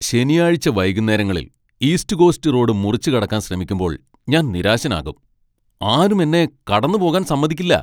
ശനിയാഴ്ച വൈകുന്നേരങ്ങളിൽ East Coast Road മുറിച്ചുകടക്കാൻ ശ്രമിക്കുമ്പോൾ ഞാൻ നിരാശനാകും, ആരും എന്നെ കടന്നുപോകാൻ സമ്മതിക്കില്ല .